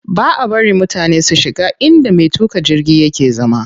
Baʼa bari mutane su shiga inda me tuƙa jirgi yake zama.